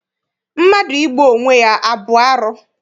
Mmadụ igbu onwe ya abụ arụ?